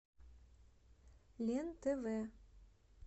лен тв